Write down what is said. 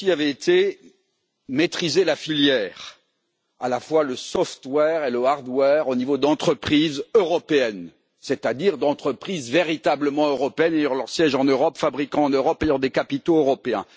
Mon souci avait été de maîtriser la filière, à la fois le software et le hardware au niveau d'entreprises européennes, c'est à dire d'entreprises véritablement européennes ayant leur siège en Europe, fabriquant en Europe et ayant des capitaux européens